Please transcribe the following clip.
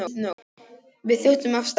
Við þjótum af stað.